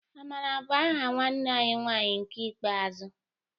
Amara bu aha nwanne anyi nwanyị nke ikpeazụ